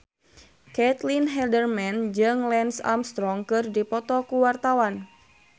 Caitlin Halderman jeung Lance Armstrong keur dipoto ku wartawan